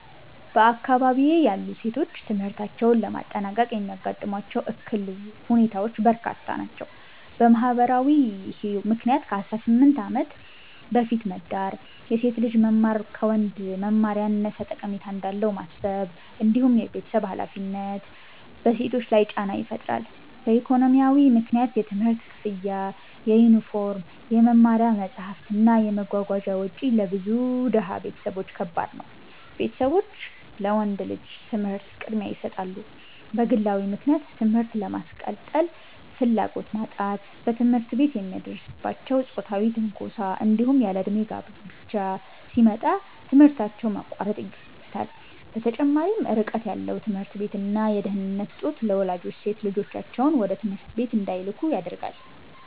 በአካባቢዬ ያሉ ሴቶች ትምህርታቸውን ለማጠናቀቅ የሚያጋጥሟቸው እክል ሁኔታዎች በርካታ ናቸው። በማህበራዊ ምክንያት ከ18 ዓመት በፊት መዳር፣ የሴት ልጅ መማር ከወንድ መማር ያነሰ ጠቀሜታ እንዳለው ማሰብ፣ እንዲሁም የቤተሰብ ሃላፊነት በሴቶች ላይ ጫና ይፈጥራሉ። በኢኮኖሚያዊ ምክንያት የትምህርት ክፍያ፣ የዩኒፎርም፣ የመማሪያ መጽሐፍት እና የመጓጓዣ ወጪ ለብዙ ድሃ ቤተሰቦች ከባድ ነው፤ ቤተሰቦች ለወንድ ልጅ ትምህርት ቅድሚያ ይሰጣሉ። በግለዊ ምክንያት ትምህርት የማስቀጠል ፍላጎት ማጣት፣ በትምህርት ቤት የሚደርስባቸው ጾታዊ ትንኮሳ፣ እንዲሁም ያለእድሜ ጋብቻ ሲመጣ ትምህርታቸውን ማቋረጥ ይገኙበታል። በተጨማሪም ርቀት ያለው ትምህርት ቤት እና የደህንነት እጦት ለወላጆች ሴት ልጆቻቸውን ወደ ትምህርት ቤት እንዳይልኩ ያደርጋል።